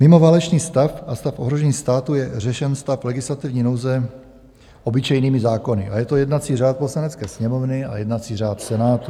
Mimo válečný stav a stav ohrožení státu je řešen stav legislativní nouze obyčejnými zákony a je to jednací řád Poslanecké sněmovny a jednací řád Senátu.